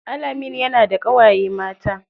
Alameen yana da ƙawaye mata.